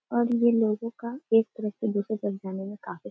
और ये लोगों का एक तरफ से दूसरे तरफ जाने में काफी --